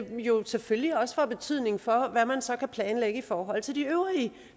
jo selvfølgelig også får betydning for hvad man så kan planlægge i forhold til de øvrige